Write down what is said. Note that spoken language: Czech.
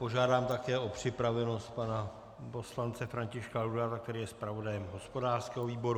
Požádám také o připravenost pana poslance Františka Laudáta, který je zpravodajem hospodářského výboru.